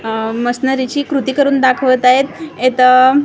आह मशीनरीची कृती करून दाखवत आहेत एत क--